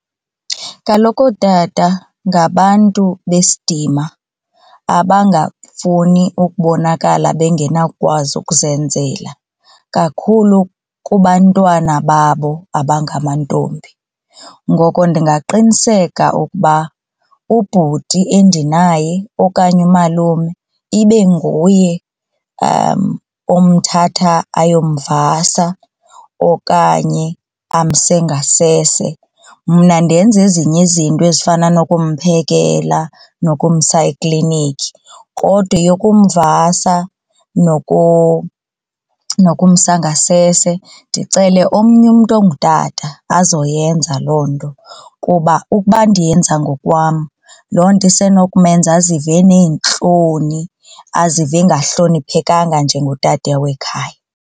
Kaloku ootata ngabantu besidima abangafuni ukubonakala bengenawukwazi ukuzenzela kakhulu kubantwana babo abangamantombi. Ngoko ndingaqiniseka ukuba ubhuti endinaye okanye umalume ibe nguye omthatha ayomvasa okanye amse ngasese mna ndenze ezinye izinto ezifana nokumphekela nokumisa eklinikhi. Kodwa eyokumvasa nokumsa ngasese ndicele umntu ongutata azoyenza loo nto kuba ukuba ndiyenza ngokwam, loo nto isenomenza azive eneentloni azive engahloniphekanga njengotata wekhaya.